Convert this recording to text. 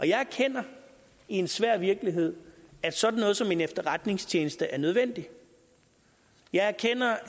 jeg erkender i en svær virkelighed at sådan noget som en efterretningstjeneste er nødvendigt jeg erkender